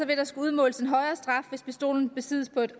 vil der skulle udmåles en højere straf hvis pistolen besiddes på et